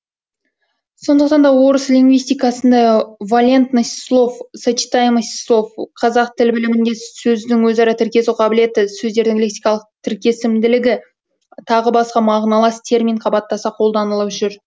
сондықтан да орыс лингвистикасында валентность слов сочетаемость слов қазақ тіл білімінде сөздің өзара тіркесу қабілеті сөздердің лексикалық тіркесімділігі тағы басқа мағыналас термин қабаттаса қолданылып жүр